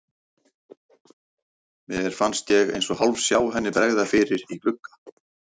Mér fannst ég eins og hálfsjá henni bregða fyrir í glugga.